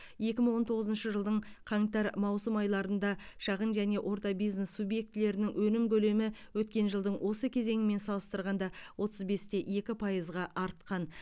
екі мың он тоғызыншы жылдың қаңтар маусым айларында шағын және орта бизнес субъектілерінің өнім көлемі өткен жылдың осы кезеңімен салыстырғанда отыз бес те екі пайызға артқан